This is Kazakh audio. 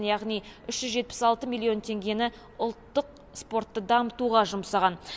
яғни үш жүз жетпіс алты миллион теңгені ұлттық спортты дамытуға жұмсаған